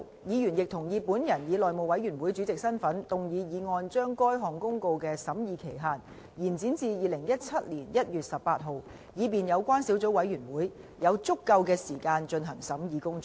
議員亦同意本人以內務委員會主席的身份動議議案，將該項公告的審議期限延展至2017年1月18日，以便有關小組委員會有足夠時間進行審議工作。